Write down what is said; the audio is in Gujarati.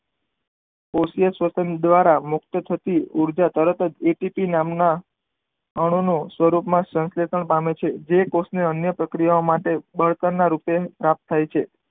કોષીય સ્તન દ્વારા મુકત થતી ઉર્જા તરત જ એ ટી પી નામ ના અણુ ના સ્વરૂપ માં સેન્સેશન પામે છે જે કોષ ને અન્ય પ્રક્રિયા માટે બળતણ ના રૂપે રાખ થાય છે.